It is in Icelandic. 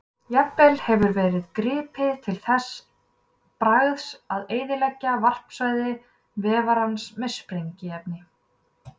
Jafnvel hefur verið gripið til þess bragðs að eyðileggja varpsvæði vefarans með sprengiefni.